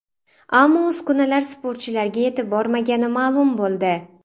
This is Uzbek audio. Ammo uskunalar sportchilarga yetib bormagani ma’lum bo‘ldi.